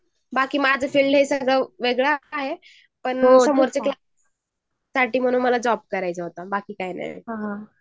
बाकी माझं फ्रेंड वेगळं आहे पण काहींनाही पार्टटाईमी मला जॉब करायचा होता